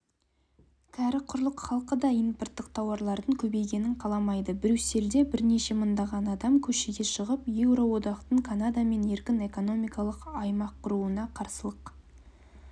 кәрі құрлық халқы да импорттық тауарлардың көбейгенін қаламайды брюссельде бірнеше мыңдаған адам көшеге шығып еуроодақтың канадамен еркін экономикалық аймақ құруына қарсылық